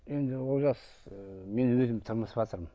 енді ыыы мен өзім тырмысыватырмын